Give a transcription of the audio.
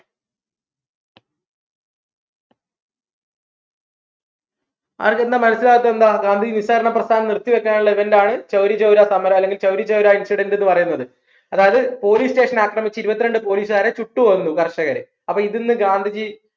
മനസ്സിലാവാത്ത എന്താ ഗാന്ധിജി നിസ്സാരണ പ്രസ്ഥാനം നിർത്തി വെക്കാനുള്ള ഒരു event ആണ് ചൗരി ചൗര സമരം അല്ലെങ്കിൽ ചൗരി ചൗരാ incident ന്ന് പറയുന്നത് അതായത് പോലീസ് station അക്രമിച്ച് ഇരുവത്രണ്ട് പോലീസുകാരെ ചുട്ടുകൊന്നു കർഷകരെ അപ്പോ ഇതിന്ന് ഗാന്ധിജി